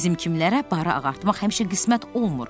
Bizim kimlərə barı ağartmaq həmişə qismət olmur.